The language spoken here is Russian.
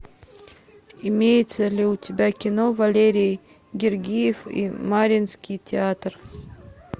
имеется ли у тебя кино валерий гергиев и мариинский театр